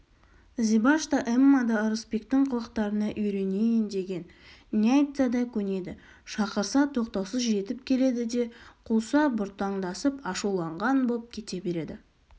зибаш та эмма да ырысбектің қылықтарына үйренейін деген не айтса да көнеді шақырса тоқтаусыз жетіп келеді де қуса бұртаңдасып ашуланған боп кете береді